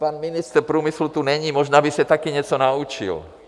Pan ministr průmyslu tu není, možná by se taky něco naučil.